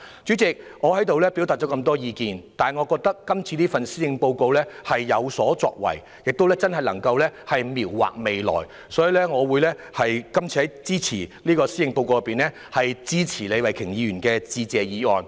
主席，我表達了很多意見，但我認為今年的施政報告是有所作為的，真正能夠描畫未來，所以我會支持李慧琼議員就施政報告提出的致謝議案。